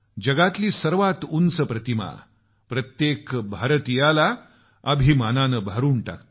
जगातली सर्वात उंच प्रतिमा प्रत्येक भारतीयाला अभिमानानं भरून टाकते